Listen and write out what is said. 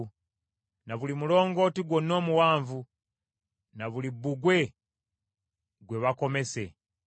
Na buli mulongooti gwonna omuwanvu, na buli bbugwe gwe bakomese.